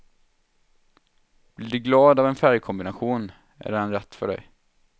Blir du glad av en färgkombination, är den rätt för dig.